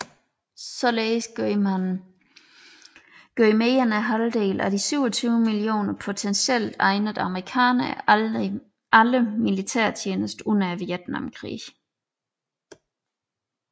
Således gjorde mere end halvdelen af de 27 mio potentielt egnede amerikanere aldrig militærtjeneste under Vietnamkrigen